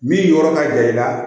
Min yɔrɔ ka jan i la